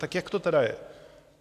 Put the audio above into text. Tak jak to tedy je?